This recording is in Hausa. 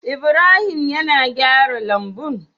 Ibrahim yAna gyara lambun?